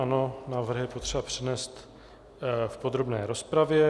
Ano, návrh je potřeba přednést v podrobné rozpravě.